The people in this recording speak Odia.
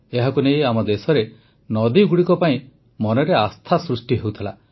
ଏହାକୁ ନେଇ ଆମ ଦେଶରେ ନଦୀଗୁଡ଼ିକ ପାଇଁ ମନରେ ଆସ୍ଥା ସୃଷ୍ଟି ହେଉଥିଲା